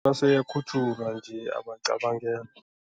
Ase ayakhutjhulwa nje, abacabangelwa.